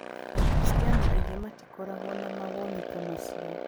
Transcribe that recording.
Akristiano aingĩ matikoragwo na mawoni ta macio.